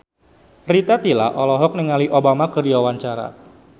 Rita Tila olohok ningali Obama keur diwawancara